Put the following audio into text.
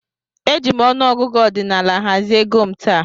Eji m ọnụ ọgụgụ ọdinaala hazie égo m taa.